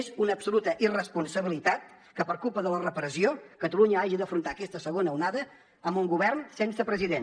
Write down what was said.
és una absoluta irresponsabilitat que per culpa de la repressió catalunya hagi d’afrontar aquesta segona onada amb un govern sense president